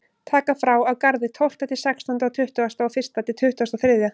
Taka frá á Garði tólfta til sextánda og tuttugasta og fyrsta til tuttugasta og þriðja.